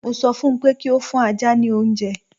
Mo ṣọ fún pé kí ó fún ajá ní oúnje!